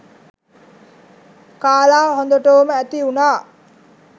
කාලා හොඳටෝම ඇති වුණා.